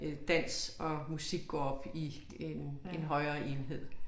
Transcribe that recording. Øh dans og musik gå op i en en højere enhed